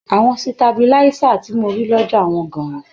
Àwọn sitabiláísà tí mo rí lọ́jà wọ́n gan-an.